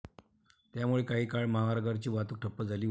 त्यामुळे काही काळ महामार्गावरची वाहतूक ठप्प झाली होती.